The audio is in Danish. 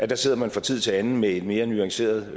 der sidder man fra tid til anden med et mere nuanceret